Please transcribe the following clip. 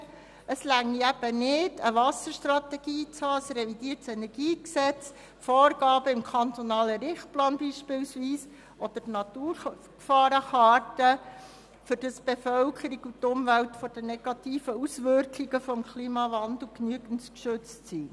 Es reiche eben nicht aus, eine Wasserstrategie zu haben, ein revidiertes Energiegesetz, Vorgaben im kantonalen Richtplan beispielsweise oder die Naturgefahrenkarte, damit die Bevölkerung und die Umwelt von den negativen Auswirkungen des Klimawandels genügend geschützt seien.